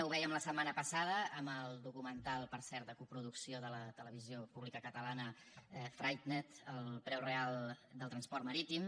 ho vèiem la setmana passada amb el documental per cert de coproducció de la televisió pública catalana freightened el preu real del transport marítim